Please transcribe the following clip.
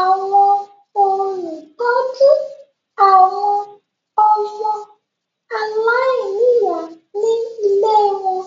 àwọn olùtọ́jú àwọn ọmọ aláìníyà ní ilée wọn.